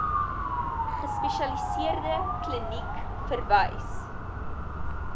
gespesialiseerde kliniek verwys